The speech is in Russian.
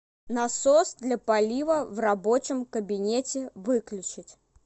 насос для полива в рабочем кабинете выключить